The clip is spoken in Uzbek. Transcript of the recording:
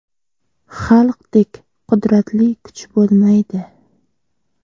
Xalqdek qudratli kuch bo‘lmaydi’.